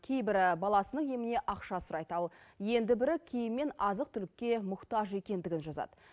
кейбірі баласының еміне ақша сұрайды ал енді бірі киім мен азық түлікке мұқтаж екендігін жазады